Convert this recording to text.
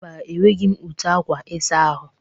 Mba, e nweghi m ute akwa ịsa ahụ?